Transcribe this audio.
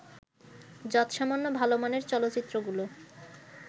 যৎসামান্য ভালো মানের চলচ্চিত্রগুলো